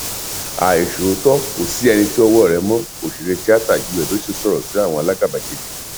àìṣòótọ kò sí ẹni tí ọwọ rẹ mọ òṣèré tiata yül edoye sọrọ sí àwọn alágàbàgebè